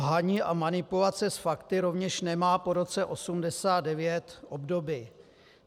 Lhaní a manipulace s fakty rovněž nemá po roce 1989 obdoby.